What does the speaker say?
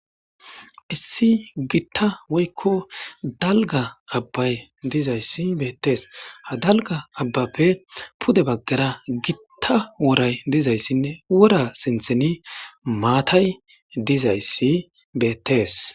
Issi gitta woykko dalga abbay dizayssi beettees ha dalga abbappe pude baggara gitta woray dizayssinne wora sintheni maatay dizayssi beettees.